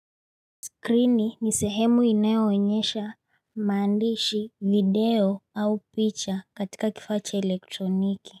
Skrini ni sehemu inayoenyesha mandishi video au picha katika kifaa cha elektroniki.